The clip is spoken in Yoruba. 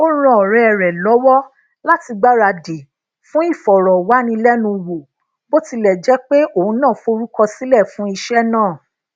ó ran òré rè lówó láti gbaradi fún ìfòròwánilénuwò bó tilè jé pé òun náà forukosile fun iṣé náà